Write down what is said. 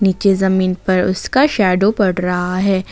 के जमीन पर उसका शैडो पड़ रहा है।